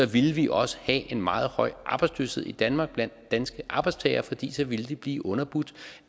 ville vi også have en meget høj arbejdsløshed i danmark blandt danske arbejdstagere fordi de så ville blive underbudt